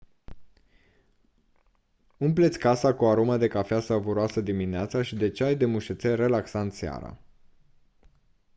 umple-ți casa cu o aromă de cafea savuroasă dimineața și de ceai de mușețel relaxant seara